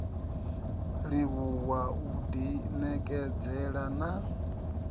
livhuwa u ḓi ṋekedzela na